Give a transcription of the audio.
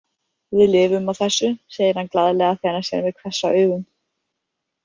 Við lifum á þessu, segir hann glaðlega þegar hann sér mig hvessa augun.